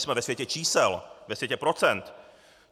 Jsme ve světě čísel, ve světě procent.